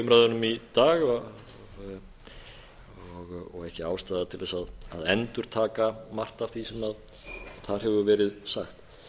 umræðunum í dag og ekki ástæða til þess að endurtaka margt af því sem þar hefur verið sagt